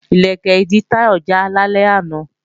Ìlẹ̀kẹ̀ ìdí Táyọ̀ já lálẹ́ àná